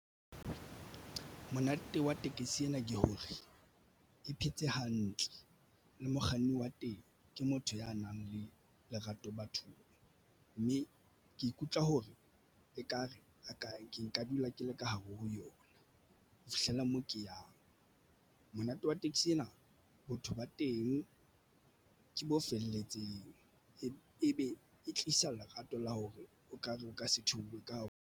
Monate wa tekesi ena ke hore e phetse hantle le mokganni wa teng ke motho ya nang le lerato bathong mme ke ikutlwa hore ekare a ke nka dula ke le ka hare ho yona. Ho fihlella moo ke yang monate wa taxi ena botho ba teng ke bo felletseng e be e tlisa lerato la hore o kare o ka se theohe ka hare ho.